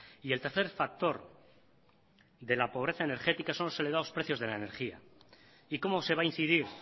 y el tercer factor de la pobreza energética son los elevados precios de la energía y cómo se va a incidir